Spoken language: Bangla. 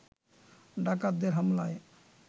ডাকাতদের হামলায়